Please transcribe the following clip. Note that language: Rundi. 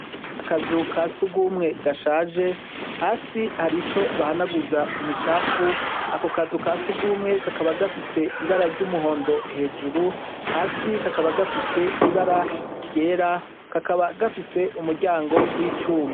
Akazu kasugumwe gashaje hasi harico bahanaguza imicafu ako kazu kasugumwe kakaba gafise ibara ryumuhondo hejuru hasi kakaba gafise ibara ryera kakaba gafise umuryango wicuma.